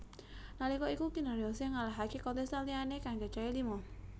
Nalika iku Kinaryosih ngalahaké kontestan liyané kang cacahé lima